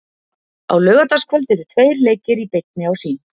Á laugardagskvöld eru tveir leikir í beinni á Sýn.